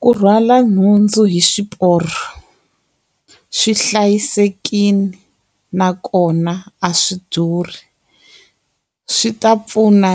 Ku rhwala nhundzu hi swiporo, swi hlayisekile nakona a swi durhi. Swi ta pfuna